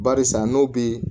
Barisa n'o bɛ